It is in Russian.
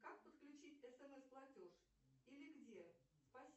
как подключить смс платеж или где спасибо